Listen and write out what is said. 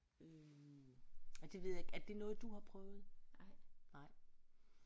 Øh ja det ved jeg er det noget du har prøvet nej